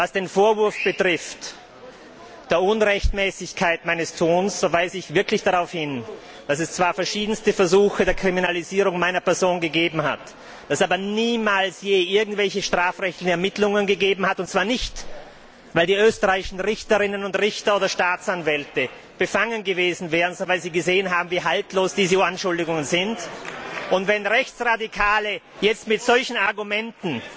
Was den Vorwurf der Unrechtmäßigkeit meines Tuns betrifft, weise ich darauf hin, dass es zwar verschiedene Versuche der Kriminalisierung meiner Person gegeben hat, aber niemals je irgendwelche strafrechtlichen Ermittlungen, und zwar nicht, weil die österreichischen Richterinnen und Richter oder Staatsanwälte befangen gewesen wären, sondern weil sie gesehen haben, wie haltlos diese Anschuldigungen sind. Wenn Rechtsradikale jetzt mit solchen Argumenten